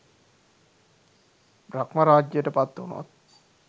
බ්‍රහ්ම රාජ්‍යයට පත්වුණොත්